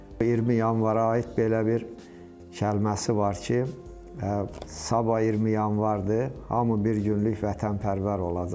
20 Yanvara aid belə bir kəlməsi var ki, sabah 20 Yanvardır, hamı bir günlük vətənpərvər olacaq.